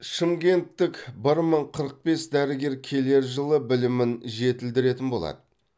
шымкенттік бір мың қырық бес дәрігер келер жылы білімін жетілдіретін болады